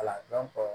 Wala